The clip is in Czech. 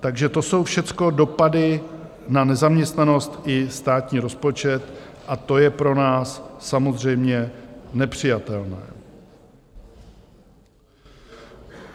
Takže to jsou všecko dopady na nezaměstnanost i státní rozpočet a to je pro nás samozřejmě nepřijatelné.